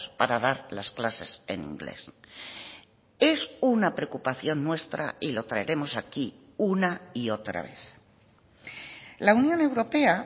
para dar las clases en inglés es una preocupación nuestra y lo traeremos aquí una y otra vez la unión europea